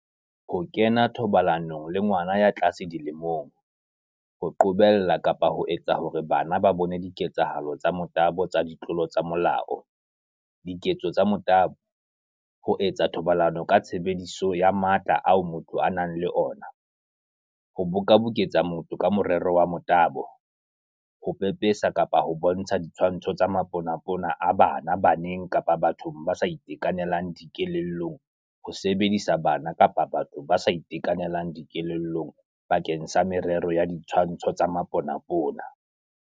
Ho kena thobalanong le ngwana ya tlase dilemong, Ho qobella kapa ho etsa hore bana ba bone diketsahalo tsa motabo tsa ditlolo tsa molao, Diketso tsa motabo, Ho etsa thobalano ka tshebediso ya matla ao motho a nang le ona, Ho bokaboketsa motho ka morero wa motabo, Ho pepesa kapa ho bontsha ditshwantsho tsa maponapona a bana baneng kapa bathong ba sa itekanelang dikelellong le ho sebedisa bana kapa batho ba sa itekanelang dikelellong bakeng sa merero ya ditshwantsho tsa maponapona.